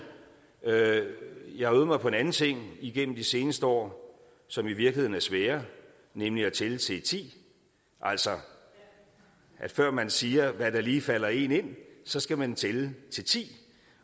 jeg har øvet mig på en anden ting igennem de seneste år som i virkeligheden er sværere nemlig at tælle til ti altså før man siger hvad der lige falder en ind så skal man tælle til ti